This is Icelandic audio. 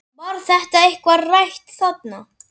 Var þetta eitthvað rætt þarna?